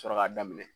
Sɔrɔ ka daminɛ